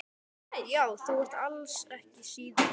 Já, þú ert alls ekki síðri.